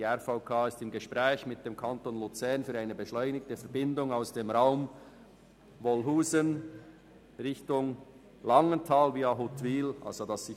Die RVK ist mit dem Kanton Luzern bezüglich einer beschleunigten Verbindung zwischen dem Raum Wolhusen Richtung Langenthal via Huttwil im Gespräch;